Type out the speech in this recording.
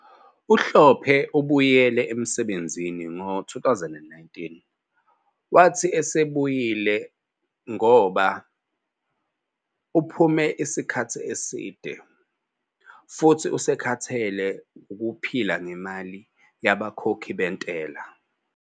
UHlophe ubuyele emsebenzini ngo-2009, wathi usebuyile ngoba "uphume isikhathi eside" futhi usekhathele wukuphila ngemali yabakhokhi bentela.